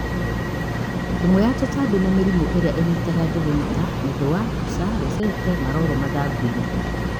ïmwe ya tûtambi na mïrimû ïria ïnyitaga njûgû nita mïthûa ,mbûca, rosaete, maroro mathangûinï